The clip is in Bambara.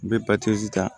N bɛ ta